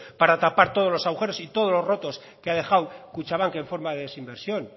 para tapar todos los agujeros y todos los rotos que ha dejado kutxabank en forma de desinversión